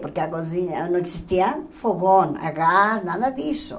Porque a cozinha não existia fogão, a gás, nada disso.